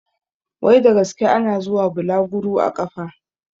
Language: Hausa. Wai da gaske ana zuwa bulaguru a ƙafa?